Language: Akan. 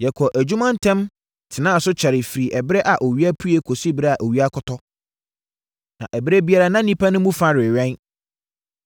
Yɛkɔɔ adwuma ntɛm tenaa so kyɛree firi ɛberɛ a owia pue kɔsi ɛberɛ a owia kɔtɔ. Na ɛberɛ biara na nnipa no mu fa rewɛn.